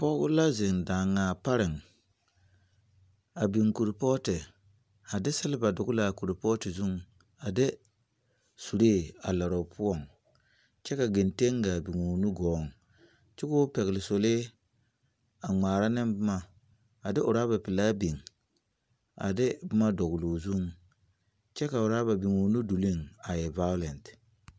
Pɔge la zeŋ daŋaa pareŋ. A biŋe korpɔɔte. A de selba dɔgle a kɔlpɔɔte zeŋ, a de suree a lare opoɔŋ. Kyɛ ka gɛnteŋ gaa biŋoo nugɔɔŋ. Kyɛ koo pɛgele sɔlee a ŋmaara ne boma, a de oraba pelaa biŋ, a de boma dɔgloo zu. Kyɛ ka woraba biŋ o nudoleŋ a e vagalen.